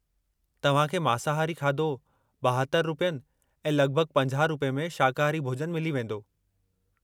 तव्हां खे मांसाहारी खाधो 72 रुपयनि ऐं लॻिभॻि 50 रुपये में शाकाहारी भोॼनु मिली वेंदो।